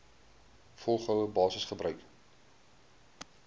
volgehoue basis gebruik